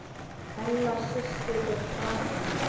Ella systir er farin.